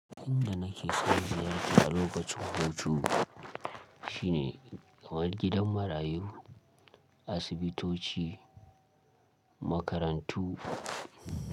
Inda nake son ziyarta a lokacin hutu shine kamar gidan marayu, asibitoci, makarantu.